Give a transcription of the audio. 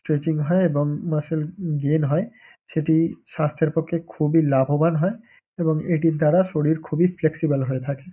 Stretching হয় এবং muscle gain হয়। সেটি স্বাস্থ্যের পক্ষে খুবই লাভবান হয় এবং এটির দ্বারা শরীর খুবই ফ্লেক্সিবল হয়ে থাকে।